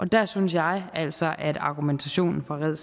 der synes jeg altså at argumentationen fra red